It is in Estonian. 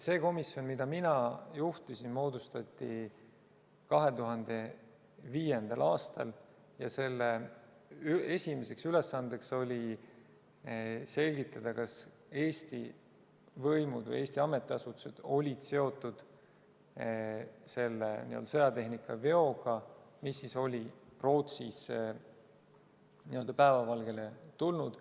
See komisjon, mida mina juhtisin, moodustati 2005. aastal ja selle esimene ülesanne oli selgitada, kas Eesti võimud või Eesti ametiasutused olid seotud selle sõjatehnika veoga, mis oli Rootsis päevavalgele tulnud.